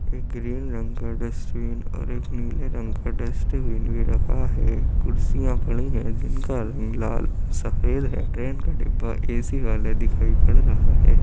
एक ग्रीन रंग का डस्टबिन और एक नीले रंग का डस्टबिन भी रखा है। कुर्सियां पड़ी है जिनका रंग लाल और सफ़ेद है। ट्रेन का डिब्बा ए.सी. दिखाई पड़ रहा है |